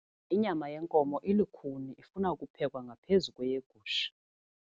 Inyama yenkomo ilukhuni ifuna ukuphekwa ngaphezu kweyegusha.